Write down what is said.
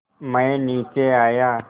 मैं नीचे आया